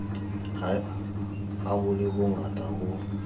ha ho le hongata ho